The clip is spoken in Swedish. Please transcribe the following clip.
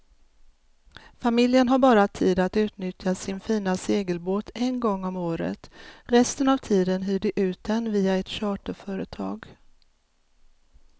Familjen har bara tid att utnyttja sin fina segelbåt en gång om året, resten av tiden hyr de ut den via ett charterföretag.